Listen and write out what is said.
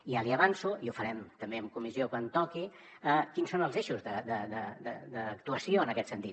ja li avanço i ho farem també en comissió quan toqui quins són els eixos d’actuació en aquest sentit